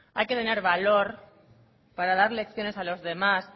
hay que tener valor para dar lecciones a los demás